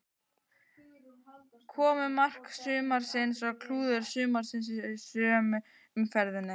Komu mark sumarsins og klúður sumarsins í sömu umferðinni?